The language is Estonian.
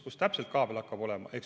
Kus täpselt kaabel hakkab olema?